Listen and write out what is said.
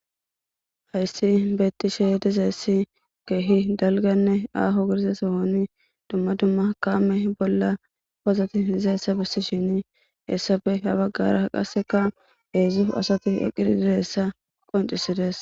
Hayssi beettishe dizayssi keehi dalganne aaho giriza sohoni dumma dumma kaame bolla pozati dizassa bessishini hessafe ha baggara qasseka heezu asati eqqidi dizayssa qoncisides.